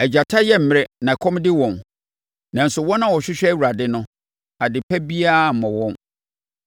Agyata yɛ mmrɛ na ɛkɔm de wɔn, nanso wɔn a wɔhwehwɛ Awurade no, adepa biara remmɔ wɔn.